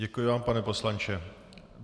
Děkuji vám, pane poslanče.